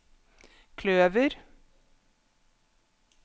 kløver